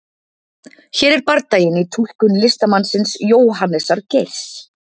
hér er bardaginn í túlkun listamannsins jóhannesar geirs